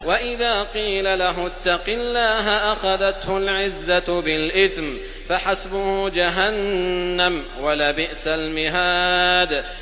وَإِذَا قِيلَ لَهُ اتَّقِ اللَّهَ أَخَذَتْهُ الْعِزَّةُ بِالْإِثْمِ ۚ فَحَسْبُهُ جَهَنَّمُ ۚ وَلَبِئْسَ الْمِهَادُ